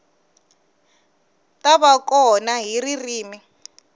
ta va kona hi ririmi